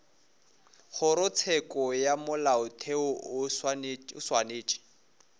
kgorotsheko ya molaotheo o swanetše